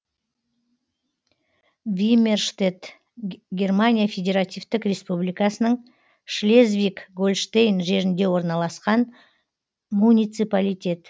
вимерштедт германия федеративтік республикасының шлезвиг гольштейн жерінде орналасқан муниципалитет